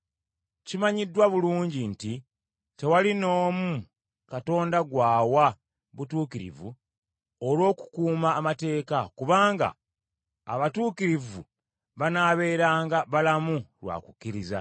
Kimanyiddwa bulungi nti tewali n’omu Katonda gw’awa butuukirivu olw’okukuuma amateeka, kubanga abatuukirivu banaabeeranga balamu lwa kukkiriza,